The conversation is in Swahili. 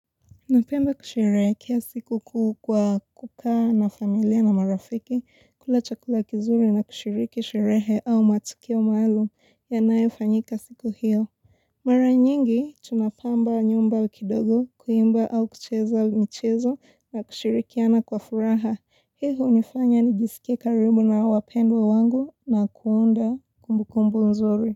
Napenda kusherehekea sikukuu kwa kukaa na familia na marafiki, kula chakula kizuri na kushiriki sherehe au matukio maalum yanayofanyika siku hiyo. Mara nyingi, tunapamba nyumba kidogo, kuimba au kucheza michezo na kushirikiana kwa furaha. Hii hunifanya nijisike karibu na wapendwa wangu na kuunda kumbukumbu nzuri.